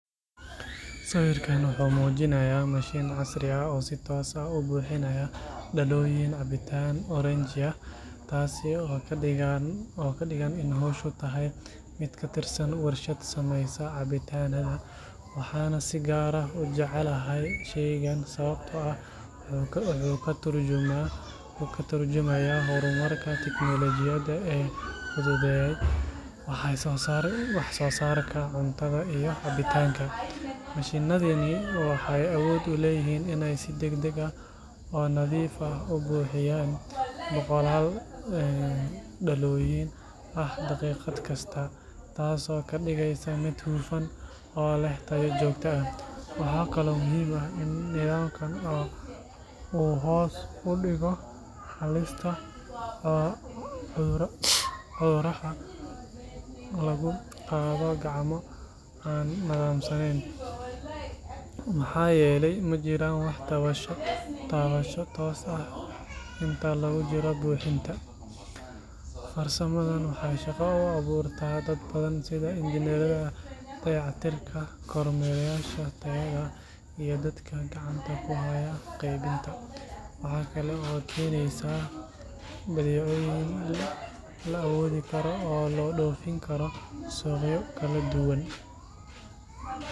Sawirkan wuxuu muujinayaa mashiin casri ah oo si toos ah u buuxinaya dhalooyin cabitaan oranji ah, taasi oo ka dhigan in hawshu tahay mid ka tirsan warshad sameysa cabitaanada. Waxaan si gaar ah u jeclahay shaygan sababtoo ah wuxuu ka tarjumayaa horumarka tiknoolajiyada ee fududeeyay wax soo saarka cuntada iyo cabitaanka. Mashiinnadani waxay awood u leeyihiin inay si degdeg ah oo nadiif ah u buuxiyaan boqolaal dhalooyin ah daqiiqad kasta, taasoo ka dhigaysa mid hufan oo leh tayo joogto ah. Waxaa kaloo muhiim ah in nidaamkan uu hoos u dhigo halista cudurrada laga qaado gacmo aan nadaamsanayn, maxaa yeelay ma jiraan wax taabasho toos ah ah inta lagu jiro buuxinta. Farsamadan waxay shaqo u abuurtaa dad badan sida injineerada dayactirka, kormeerayaasha tayada, iyo dadka gacanta ku haya qaybinta. Waxaa kale oo ay keenaysaa badeecooyin la awoodi karo oo loo dhoofin karo suuqyo kala duwan.